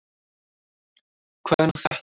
Hvað er nú þetta?